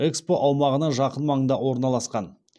экспо аумағына жақын маңда орналасқан